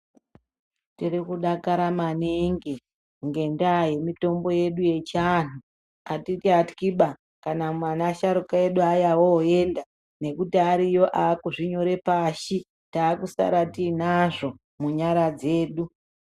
Tirikudakara maningi ngendaa yemitombo yedu echiandu. Atichatyiba kana asharuka edu oenda nekuti aripo akuzvinyora pasi takusara tinazvo munyara dzedu.